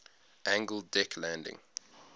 angled deck landing